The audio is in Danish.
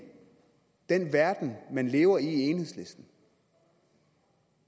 den verden man lever i i enhedslisten